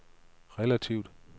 relativt